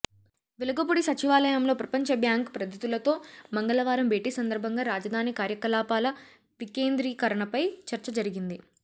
వెలగపూడి సచివాలయంలో ప్రపంచ బ్యాంక్ ప్రతిధులతో మంగళవారం భేటీ సందర్భంగా రాజధాని కార్యకలాపాల వికేంద్రీకరణపై చర్చ జరిగింది